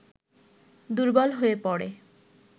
দুর্বল হয়ে পড়ে